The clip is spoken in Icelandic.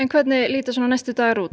hvernig lýta næstu dagar út